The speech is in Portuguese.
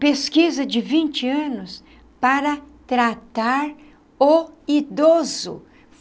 Pesquisa de vinte anos para tratar o idoso.